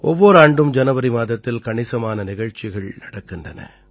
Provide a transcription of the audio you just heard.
ஒவ்வொர் ஆண்டும் ஜனவரி மாதத்தில் கணிசமான நிகழ்ச்சிகள் நடக்கின்றன